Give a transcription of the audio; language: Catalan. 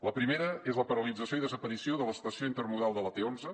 la primera és la paralització i desaparició de l’estació intermodal de la t onze